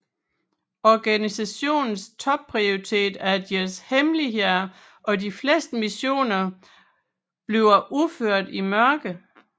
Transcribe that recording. Organisationens topprioritet er deres hemmeligheder og de fleste missioner bliver udført i mørket